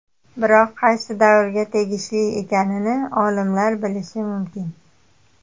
Biroq qaysi davrga tegishli ekanini olimlar bilishi mumkin”.